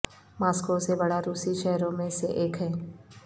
Moscow سے بڑا روسی شہروں میں سے ایک ہے